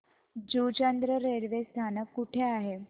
Juchandra railway स्थानक कुठे आहे